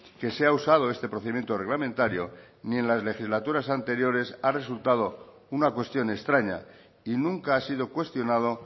que se ha usado este procedimiento reglamentario ni en las legislaturas anteriores ha resultado una cuestión extraña y nunca ha sido cuestionado